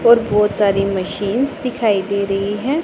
और बहोत सारी मशीनस दिखाई दे रही हैं।